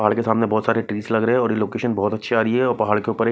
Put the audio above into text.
पहाड़ के सामने बहोत सारे ट्रीस लग रहे है और ये लोकेशन भी बहोत अच्छी आ रही है और पहाड़ के ऊपर एक --